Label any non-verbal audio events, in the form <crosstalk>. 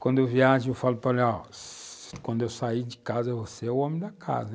Quando eu viajo, eu falo para ela, <unintelligible> quando eu sair de casa, você é o homem da casa, hem.